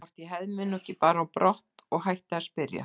Hvort ég hefði mig nú ekki bara á brott og hætti að spyrja.